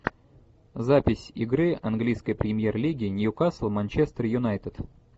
запись игры английской премьер лиги ньюкасл манчестер юнайтед